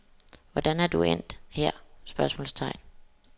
Hvordan er du endt her? spørgsmålstegn